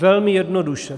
Velmi jednoduše.